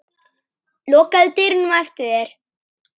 Lokaðu dyrunum á eftir þér.